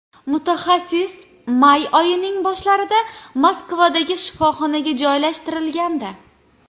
Mutaxassis may oyining boshlarida Moskvadagi shifoxonaga joylashtirilgandi.